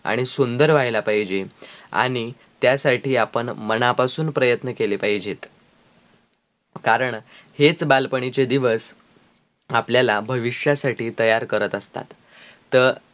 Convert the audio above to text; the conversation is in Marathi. आणी सुंदर व्हायला पाहिजे आणी त्यासाठी आपण मनापासून प्रयत्न केले पाहिजेत कारण हेच बालपणीचे दिवस आपल्या भविष्यासाठी तयार करत असतात त